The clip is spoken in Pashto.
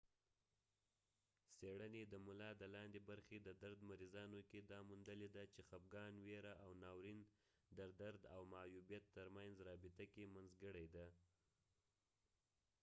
څیړنی د ملا د لاندې برخی د درد مریضانو کې دا موندلی ده چې خپګان ويره او ناورین د درد او معیوبیت تر منځ رابطه کې منځګړی دي